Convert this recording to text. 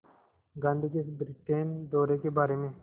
गांधी के इस ब्रिटेन दौरे के बारे में